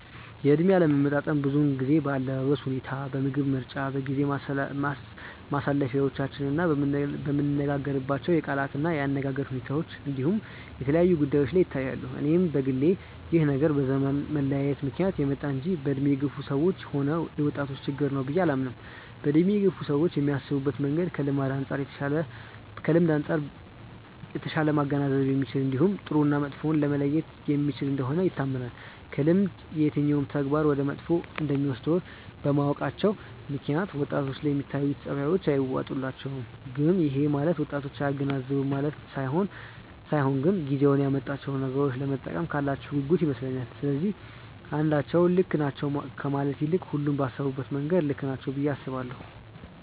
የእድሜ አለመጣጣም ብዙውን ጊዜ በአለባበስ ሁኔታ፣ በምግብ ምርጫ፣ በጊዜ ማሳለፊያዎቻችን፣ በምንነጋገርባቸው የቃላት እና የአነጋገር ሁኔታ እንዲሁም የተለያዩ ጉዳዮች ላይ ይታያሉ። እኔም በግሌ ይህ ነገር በዘመን መለያየት ምክንያት የመጣ እንጂ በእድሜ የገፋ ሰዎችም ሆነ የወጣቶች ችግር ነው ብዬ አላምንም። በእድሜ የገፉ ሰዎች የሚያስቡበት መንገድ ከልምድ አንጻር የተሻለ ማገናዘብ የሚችል እንዲሁም ጥሩ እና መጥፎውን መለየት የሚችል እንደሆነ ይታመናል። ከልምድም የትኛው ተግባር ወደ መጥፎ እንደሚወስድ በማወቃቸው ምክንያት ወጣቶች ላይ የሚታዩት ጸባዮች አይዋጡላቸውም። ግን ይሄ ማለት ወጣቶች አያገናዝቡም ማለት ሳይሆን ግን ጊዜው ያመጣቸውን ነገሮች ለመጠቀም ካላቸው ጉጉት ይመስለኛል። ስለዚህ አንዳቸው ልክ ናቸው ከማለት ይልቅ ሁሉም ባሰቡበት መንገድ ልክ ናቸው ብዬ አስባለሁ።